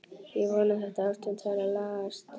Ég vona að þetta ástand fari að lagast.